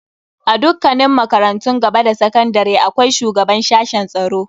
A dukkanin makarantun gaba da sakandare akwai shugaban sashen tsaro.